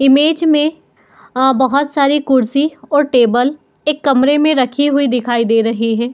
Image में अ बोहोत सारे कुर्सी और टेबल एक कमरे में रखे दिखाई दे रहे हैं।